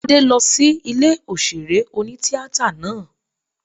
Tádé lọ sí ilé òṣèré oní-tíatà náà